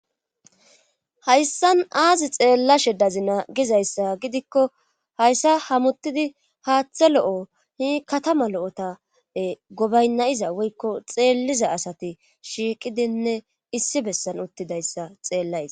Hayssan aazi xeellashe dazi naa gizayssa gidikko hayssa hamuttidi haaththe lo'o hi katama lo'ota gobaynnayiza woykko xeelliza asati shiiqidinne issi bessan uttidayssa xeellays.